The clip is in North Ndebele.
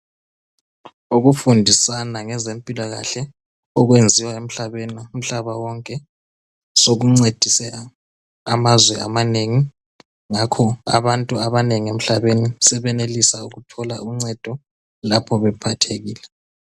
Ukufundisana ngezempilakahle okwenziwa emhlabeni, umhlaba wonke sokuncedise amazwe amanengi ngakho abantu abanengi emhlabeni sebenelisa ukuthola uncedo lapho bephathekile.